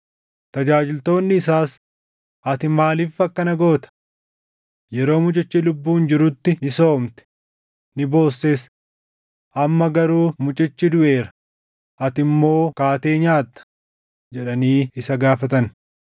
Tajaajiltoonni isaas, “Ati maaliif akkana goota? Yeroo mucichi lubbuun jirutti ni soomte; ni boosses. Amma garuu mucichi duʼeera; ati immoo kaatee nyaatta!” jedhanii isa gaafatan.